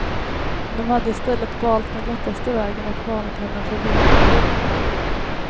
De hade istället valt den lättaste vägen och varnat henne för villoläror.